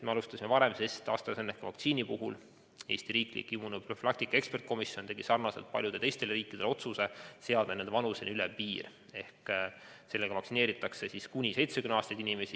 Me alustasime varem, sest AstraZeneca vaktsiini puhul tegi Eesti riiklik immunoprofülaktika eksperdikomisjon sarnaselt paljude teiste riikidega otsuse seada selle kasutamisele vanuseline ülempiir: sellega vaktsineeritakse kuni 70-aastaseid inimesi.